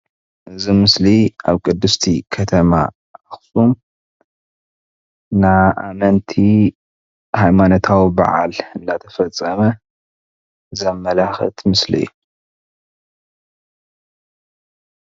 እዚ ምስሊ ኣብ ቅድስቲ ከተማ ኣክሱም ናይ ኣመንቲ ሃይማኖታዊ በዓል እናተፈፀመ ዘመላክት ምስሊ እዩ፡፡